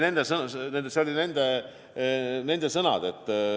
Need olid nende sõnad.